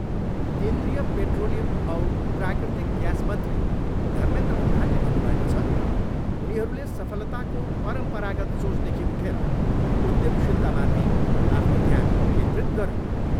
केन्द्रीय पेट्रोलियम औ प्राकृतिक ग्यास मन्त्री धमेन्द्र प्रधानले भन्नुभएको छ, उनीहरूले सफलताको परमपरागत सोचदेखि उठेर उध्यमशीलतामाथि आफ्नो ध्यान केन्द्रित गरून्।